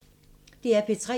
DR P3